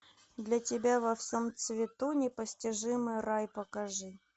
для тебя во всем цвету непостижимый рай покажи